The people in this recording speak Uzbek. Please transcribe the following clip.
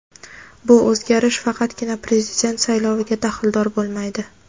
bu o‘zgarish faqatgina Prezident sayloviga daxldor bo‘lmaydi.